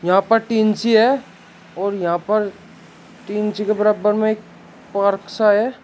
यहां पर टीन सी है और यहां पर टीन सी के बराबर में एक पार्क सा है।